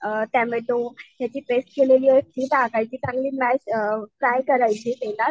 Tomato याची paste केलेलीये ती टाकायची. चांगली मॅश अअअ फ्राय करायची तेलात.